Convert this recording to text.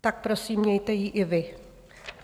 Tak prosím, mějte ji i vy.